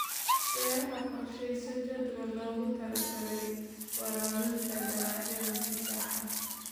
Beeraha Qorshayso jadwal loogu talagalay waraabinta dalagyada si sax ah.